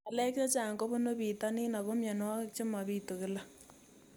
Ng'alek chechang' kopunu pitonin ako mianwogik che mapitu kila